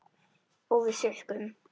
Og við sukkum.